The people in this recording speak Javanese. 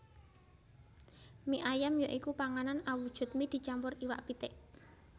Mie ayam ya iku panganan awujud mie dicampur iwak pitik